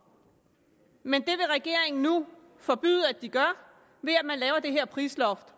men det vil regeringen nu forbyde at de gør ved at lave det her prisloft